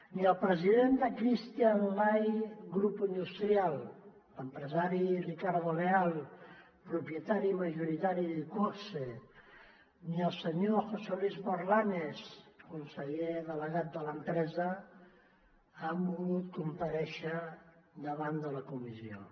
ni el president de cristian lay grupo industrial l’empresari ricardo leal propietari majoritari d’iqoxe ni el senyor josé luis morlanes conseller delegat de l’empresa han volgut comparèixer davant de la comissió